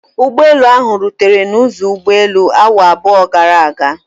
Ụgbọelu ahụ rutere n'ụzọ ụgbọelu awa abụọ gara aga.